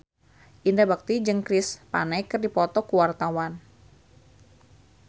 Indra Bekti jeung Chris Pane keur dipoto ku wartawan